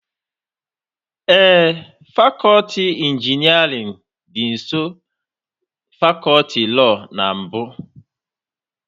Ee, fakọti injinerịn dị nsọ fakọti lọọ na mbụ